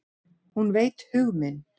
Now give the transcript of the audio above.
Hún veit hug minn.